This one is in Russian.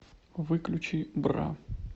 выключи бра